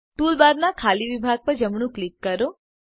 ટૂલબારનાં ખાલી વિભાગ પર જમણું ક્લિક કરો